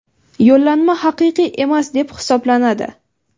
yo‘llanma haqiqiy emas deb hisoblanadi.